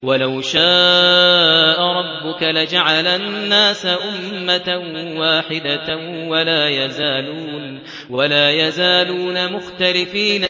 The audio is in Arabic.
وَلَوْ شَاءَ رَبُّكَ لَجَعَلَ النَّاسَ أُمَّةً وَاحِدَةً ۖ وَلَا يَزَالُونَ مُخْتَلِفِينَ